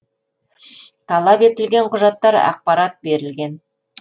талап етілген құжаттар ақпарат берілген